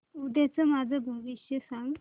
उद्याचं माझं भविष्य सांग